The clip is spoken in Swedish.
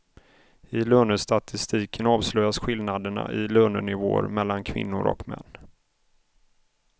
I lönestatistiken avslöjas skillnaderna i lönenivåer mellan kvinnor och män.